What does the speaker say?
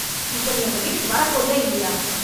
இப்ப நீ எங்க வீட்டுக்கு வர போறியா இல்லையா?